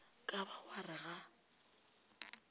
ka ba wa re ga